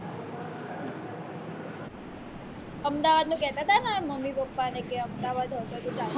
અમદાવાદનું કેતાતા ને મમ્મી પપ્પાને ને કે અમદાવાદ હશે તો ચાલશે